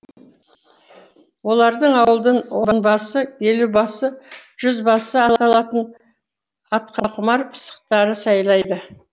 олардың ауылдың онбасы елубасы жүзбасы аталатын атқақұмар пысықтары сайлайды